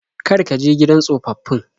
Kar ka je gidan tsofaffin.